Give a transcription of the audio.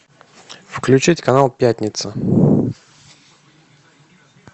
включить канал пятница